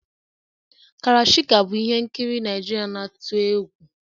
Karashika bụ ihe nkiri Naijiria na-atụ egwu